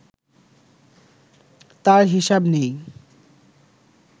তার হিসাব নেই